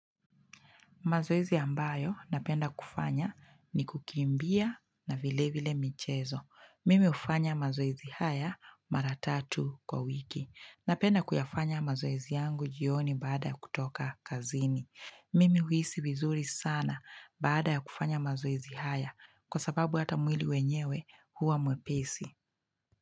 Mazoezi ambayo napenda kufanya ni kukimbia na vile vile michezo. Mimi hufanya mazoezi haya maratatu kwa wiki. Napenda kuyafanya mazoezi yangu jioni baada kutoka kazini. Mimi huisi vizuri sana baada kufanya mazoezi haya kwa sababu hata mwili wenyewe huwa mwepesi.